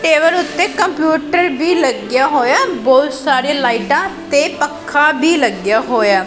Table ਉੱਤੇ computer ਵੀ ਲੱਗ ਗਿਆ ਹੋਇਆ ਬਹੁਤ ਸਾਰੇ ਲਾਈਟਾਂ ਤੇ ਪੱਖਾ ਵੀ ਲੱਗਿਆ ਹੋਇਆ।